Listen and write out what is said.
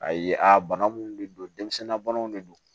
A ye a bana minnu de don denmisɛnninna banaw de don